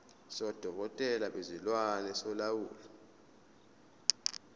sodokotela bezilwane solawulo